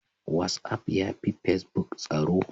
Whatsaf ya fi pacebuk tsaro.